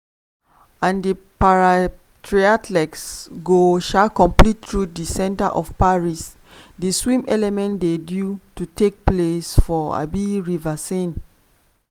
and di para-triathletes go um compete through di centre of paris - di swim element dey due to take place for um river.